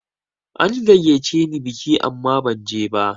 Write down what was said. An gayyace ni biki amma ba zanje ba.